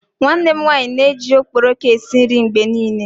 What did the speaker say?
Nwanne m nwanyi n'eji okporoko esi nri mgbe nile